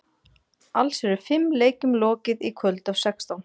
Alls eru fimm leikjum lokið í kvöld af sextán.